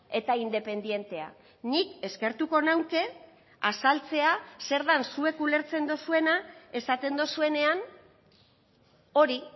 eta independentea nik eskertuko nuke azaltzea zer den zuek ulertzen duzuena esaten duzuenean hori